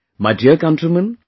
My dear countrymen,